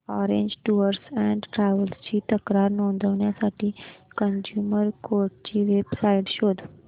orange tours and travels ची तक्रार नोंदवण्यासाठी कंझ्युमर कोर्ट ची वेब साइट शोध